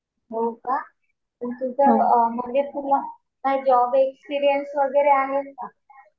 हो का. मग तुझं म्हणजे तुला काही जॉब एक्सपीरियन्स वगैरे आहे का?